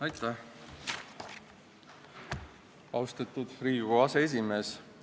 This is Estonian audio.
Aitäh, austatud Riigikogu aseesimees!